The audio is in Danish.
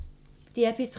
DR P3